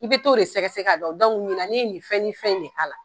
I bɛ t'o de de sɛgɛsɛ k'a dɔn, dɔnku ɲina, ne ye nin fɛn ni nin fɛn in k'a la.